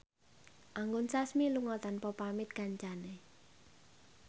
Anggun Sasmi lunga tanpa pamit kancane